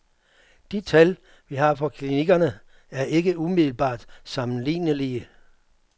De tal, vi har fra klinikkerne, er ikke umiddelbart sammenlignelige.